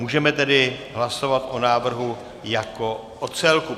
Můžeme tedy hlasovat o návrhu jako o celku.